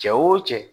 Cɛ wo cɛ